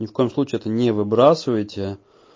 ни в коем случае это не выбрасывайте